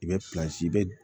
I bɛ i bɛ